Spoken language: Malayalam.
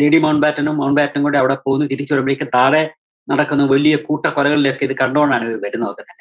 lady മൗണ്ട് ബാറ്റനും മൗണ്ട് ബാറ്റനും കൂടെ അവിടെ പോകുന്നു, തിരിച്ചു വരുമ്പഴക്കേും കാലേ നടക്കുന്ന വലിയ കൂട്ടക്കൊലകളിലൊക്കെ ഇത് കണ്ടോണ്ടാണിവര് വരുന്നത് തന്നെ